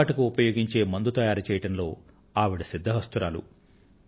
పాము కాటుకు ఉపయోగించే మందును తయారు చేయడంలో ఆవిడ సిద్ధహస్తురాలు